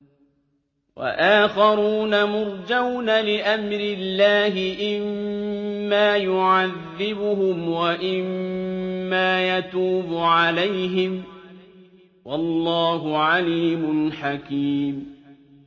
وَآخَرُونَ مُرْجَوْنَ لِأَمْرِ اللَّهِ إِمَّا يُعَذِّبُهُمْ وَإِمَّا يَتُوبُ عَلَيْهِمْ ۗ وَاللَّهُ عَلِيمٌ حَكِيمٌ